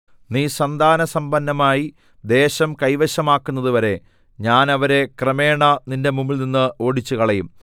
നീ സന്താനസമ്പന്നമായി ദേശം കൈവശമാക്കുന്നതുവരെ ഞാൻ അവരെ ക്രമേണ നിന്റെ മുമ്പിൽനിന്ന് ഓടിച്ചുകളയും